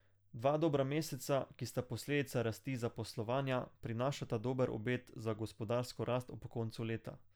Dva dobra meseca, ki sta posledica rasti zaposlovanja, prinašata dober obet za gospodarsko rast ob koncu leta.